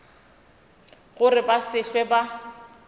gore ba se hlwe ba